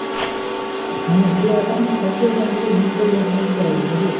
মানে পুরো account থাকবে ওখান থেকে link করে net banking করা যাবে। নাকি?